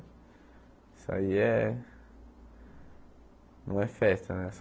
Isso aí é... Não é festa, né?